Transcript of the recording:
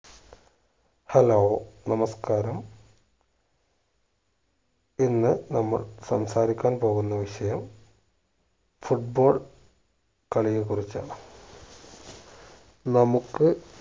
hello നമസ്ക്കാരം ഇന്ന് നമ്മൾ സംസാരിക്കാൻ പോകുന്ന വിഷയം foot ball കളിയെക്കുറിച്ചാണ് നമുക്ക്